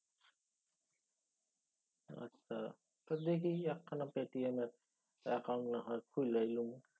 আচ্ছা। তো দেহি একখানা পেটিএম এর অ্যাকাউন্ট না হয় খুইলাই লমু।